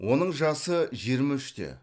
оның жасы жиырма үште